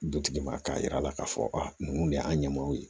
Dutigi ma k'a yira a la k'a fɔ a ninnu de y'an ɲɛ maaw ye